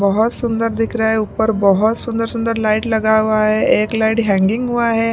बहुत सुंदर दिख रहा है ऊपर बहुत सुंदर सुंदर लाइट लगा हुआ है एक लाइट हैंगिंग हुआ है।